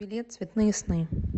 билет цветные сны